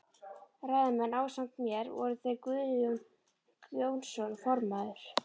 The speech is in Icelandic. Ræðumenn ásamt mér voru þeir Guðjón Jónsson formaður